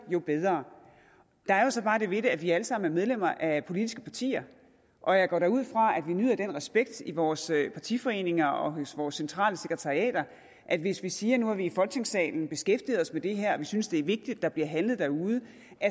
jo bedre der er jo så bare det ved det at vi alle sammen er medlemmer af politiske partier og jeg går da ud fra at vi nyder den respekt i vores partiforeninger og vores centrale sekretariater at hvis vi siger at nu har vi i folketingssalen beskæftiget os med det her og vi synes det er vigtigt der bliver handlet derude